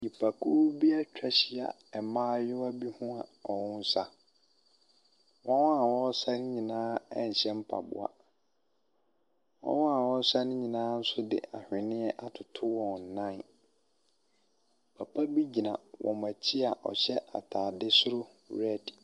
Nipakuo bi etwa ehyia mbaayewa bi ho ɔmo saa. Wɔn a wɔɔsa nyinaa nhyɛ mpaboa, wɔn a wɔɔsa nyinaa so de ahweniɛ atoto wɔn nan. Papa bi gyina ɔmo ekyi a ɔhyɛ ataade soro rɛd.